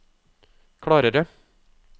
klarere